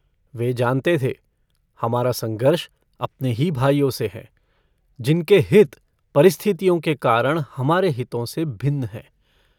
वे जानते थे हमारा संघर्ष अपने ही भाइयों से है जिनके हित परिस्थितियों के कारण हमारे हितों से भिन्न हैं।